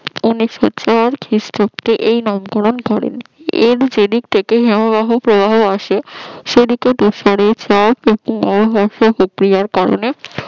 উনিশশো চার খ্রিস্টাব্দে এই নামকরণ করেন পন্ডিচেরি থেকে হিমবাহের প্রবাহ আসে কারণে